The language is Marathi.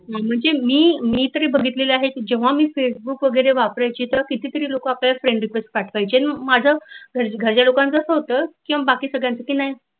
म्हणजे मी मी तरी बघितल आहे की जेंंव्हा मी फेसबुक वगैरे वापरायची तेव्हा कितीतरी लोक आपल्याला friend request पाठवायचे माझ्या घरच्या लोकांच कस होत की मी बाकी सगळ्यांची नाही